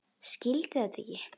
Skildi þetta ekki.